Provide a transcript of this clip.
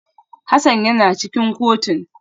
Hassan yana cikin kotun